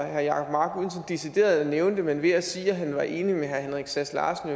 herre jacob mark uden decideret at nævne det men ved at sige at han var enig med herre henrik sass larsen